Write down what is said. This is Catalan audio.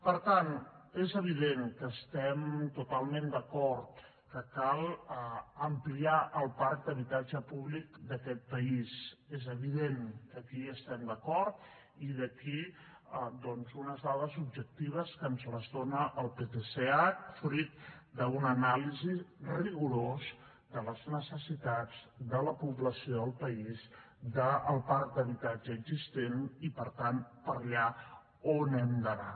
per tant és evident que estem totalment d’acord que cal ampliar el parc d’habitatge públic d’aquest país és evident que aquí hi estem d’acord i aquí doncs unes dades objectives que ens les dona el ptsh fruit d’una anàlisi rigorosa de les necessitats de la població al país del parc d’habitatge existent i per tant per allà on hem d’anar